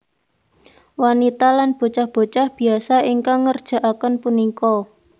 Wanita lan bocah bocah biasa ingkang ngerjakaken punika